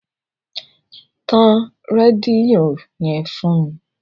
Tan rédíó yẹn fún mi.